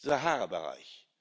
Saharabereich.